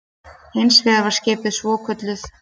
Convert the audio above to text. Hins vegar var skipuð svokölluð